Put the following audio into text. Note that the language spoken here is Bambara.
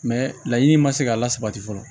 laɲini ma se ka lasabati fɔlɔ